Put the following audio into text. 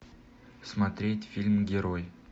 смотреть фильм герой